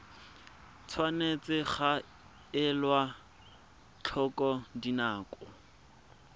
tshwanetse ga elwa tlhoko dinako